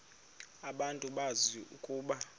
abantu bazi ukuba